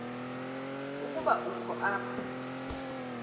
ukuba ukho apha